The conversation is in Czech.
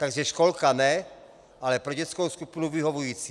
Takže školka ne, ale pro dětskou skupinu vyhovující.